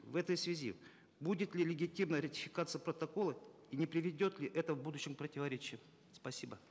в этой связи будет ли легитимна ратификация протокола и не приведет ли это в будущем к противоречиям спасибо